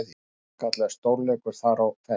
Sannkallaður stórleikur þar á ferð.